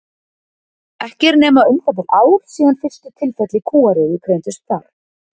Ekki er nema um það bil ár síðan fyrstu tilfelli kúariðu greindust þar.